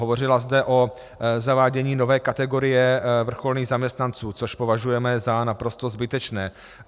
Hovořila zde o zavádění nové kategorie vrcholných zaměstnanců, což považujeme za naprosto zbytečné.